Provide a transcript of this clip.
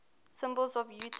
symbols of utah